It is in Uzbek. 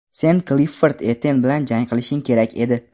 Sen Klifford Etten bilan jang qilishing kerak edi.